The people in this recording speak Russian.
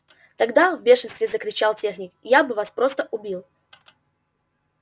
тогда в бешенстве закричал техник я бы вас просто убил